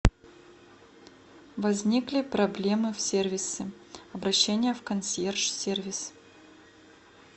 возникли проблемы в сервисе обращение в консьерж сервис